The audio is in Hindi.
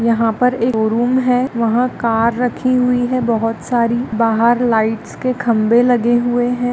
यह पर एक है। वहा कार राखी हुए है। बहुत सारी बाहर लाइट्स के कांबे लागे हुए हैं।